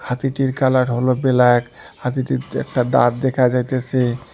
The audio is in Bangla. হাতিটির কালার হলো বেল্যাক হাতিটির একটা দাঁত দেখা যাইতেসে।